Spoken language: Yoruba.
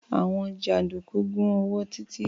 Àwọn jàǹdùkú gún ọwọ́ Títí.